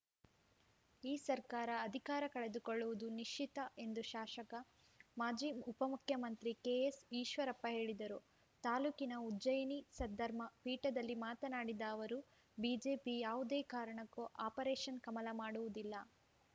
ಈ ಸರ್ಕಾರ ಅಧಿಕಾರ ಕಳೆದುಕೊಳ್ಳುವುದು ನಿಶ್ಚಿತ ಎಂದು ಶಾಶಕ ಮಾಜಿ ಉಪಮುಖ್ಯಮಂತ್ರಿ ಕೆಎಸ್‌ಈಶ್ವರಪ್ಪ ಹೇಳಿದರು ತಾಲೂಕಿನ ಉಜ್ಜಯಿನಿ ಸದ್ಧರ್ಮ ಪೀಠದಲ್ಲಿ ಮಾತನಾಡಿದ ಅವರು ಬಿಜೆಪಿ ಯಾವುದೇ ಕಾರಣಕ್ಕೂ ಆಪರೇಷನ್‌ ಕಮಲ ಮಾಡುವುದಿಲ್ಲ